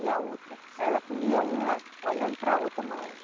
E a outra, ela comia uma olhando para outra mão.